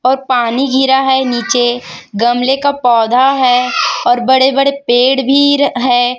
व पानी गिरा हैं नीचे गमले का पौधा हैं और बड़े बड़े पेड़ भी र हैं।